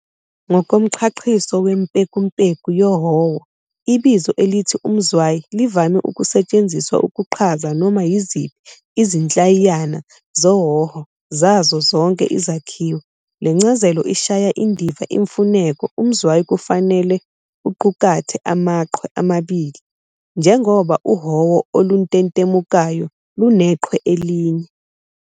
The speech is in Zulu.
Ngokomchachiso wempekumpeku yohowo, ibizo elithi umzwayi livame ukusetshenziswa ukuchaza noma yiziphi izinhlayiyana zohowo zazo zonke izakhiwo. Lencazelo ishaya indiva imfuneko umzwayi kufanele uqukathe amaChwe amabili, njengoba uhowo oluntentemukayo lunechwe elinye.